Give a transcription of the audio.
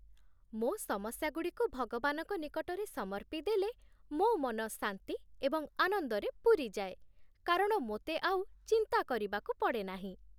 ମୋ' ସମସ୍ୟାଗୁଡ଼ିକୁ ଭଗବାନଙ୍କ ନିକଟରେ ସମର୍ପିଦେଲେ ମୋ' ମନ ଶାନ୍ତି ଏବଂ ଆନନ୍ଦରେ ପୂରିଯାଏ, କାରଣ ମୋତେ ଆଉ ଚିନ୍ତା କରିବାକୁ ପଡ଼େ ନାହିଁ।